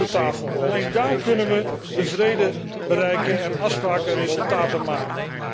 Wij moeten om de tafel, alleen daar kunnen we de vrede bereiken en afspraken en resultaten maken.